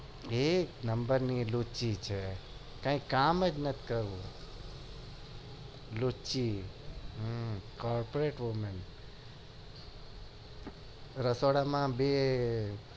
એક number ની લુછી છે કઈ કામ જ ન કરવું લીચું corporate wome રસોડા માં